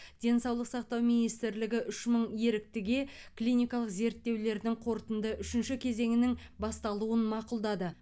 денсаулық сақтау министрлігі үш мың еріктіге клиникалық зерттеулердің қорытынды үшінші кезеңінің басталуын мақұлдады